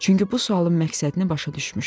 Çünki bu sualın məqsədini başa düşmüşdüm.